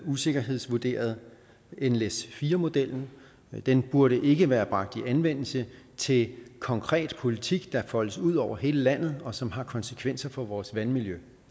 usikkerhedsvurderet nles4 modellen den burde ikke være bragt i anvendelse til konkret politik der foldes ud over hele landet og som har konsekvenser for vores vandmiljø